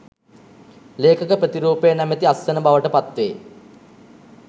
ලේඛක ප්‍රතිරූපය නැමැති අත්සන බවට පත්වේ